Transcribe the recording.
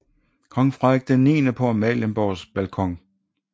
Kong Frederik IX på Amalienborgs balkon